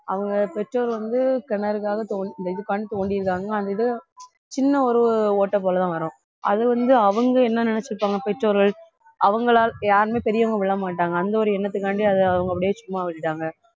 அவங்க பெற்றோர் வந்து கிணறுக்காக தொண்~ இந்த இதுக்காண்டி தோண்டியிருக்காங்க அந்த இது சின்ன ஒரு ஓட்டை போல தான் வரும் அது வந்து அவங்க என்ன நினைச்சுப்பாங்க பெற்றோர்கள் அவங்களால் யாருமே பெரியவங்க விழமாட்டாங்க அந்த ஒரு எண்ணத்துக்காண்டி அதை அவங்க அப்படியே சும்மா விட்டுட்டாங்க